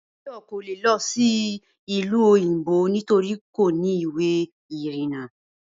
Báyò̩ kò lè lo̩ sí ìlú òyìnbó nítori kò ní ìwé ìrìnà